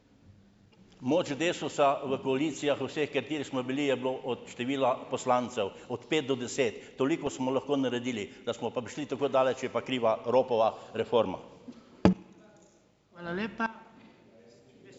Moč DeSUS-a v koalicijah, vseh, v katerih smo bili, je bilo od števila poslancev od pet do deset. Toliko smo lahko naredili. Da smo pa prišli tako daleč, je pa kriva Ropova reforma.